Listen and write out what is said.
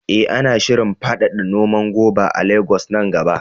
Eh, ana shirin faɗaɗa noman goba a Legas nan gaba.